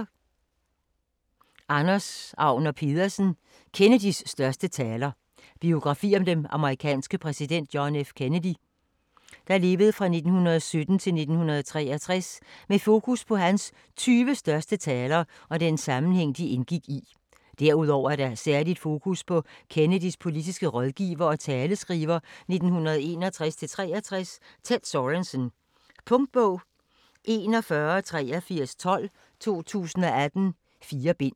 Agner Pedersen, Anders: Kennedys største taler Biografi om den amerikanske præsident John F. Kennedy (1917-1963) med fokus på hans 20 største taler og den sammenhæng, de indgik i. Derudover er der et særligt fokus på Kennedys politiske rådgiver og taleskriver 1961-1963, Ted Sorensen. Punktbog 418312 2018. 4 bind.